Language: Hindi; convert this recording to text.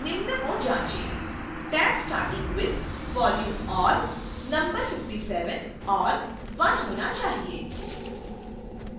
निम्न को जाँचे